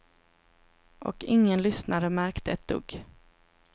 Och ingen lyssnare märkte ett dugg.